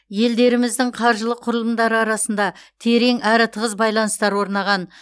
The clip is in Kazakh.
елдеріміздің қаржылық құрылымдары арасында терең әрі тығыз байланыстар орнаған